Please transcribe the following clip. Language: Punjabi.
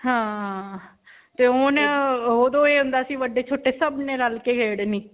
ਹਾਂ. ਤੇ ਹੁਣ ਓਦੋਂ ਇਹ ਹੁੰਦਾ ਸੀ ਵੱਡੇ-ਛੋਟੇ ਸਭ ਨੇ ਰਲ ਕੇ ਖੇਡਣੀ.